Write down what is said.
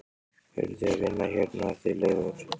Eruð þið að vinna hérna þið Leifur?